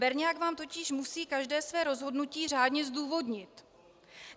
Berňák vám totiž musí každé své rozhodnutí řádně zdůvodnit.